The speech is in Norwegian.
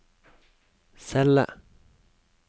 celle